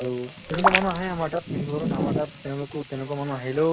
আৰু এনেকুৱা মানুহ আহে আমাৰ তাত কিন্তু ধৰক আমাৰ তাত তেওঁলোকো তেনেকুৱা মানুহ আহিলেও